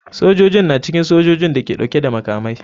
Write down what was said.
Sojojin na cikin sojojin da ke dauke da makamai.